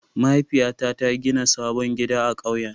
Mahaifiyata ta gina sabon gida a ƙauyen.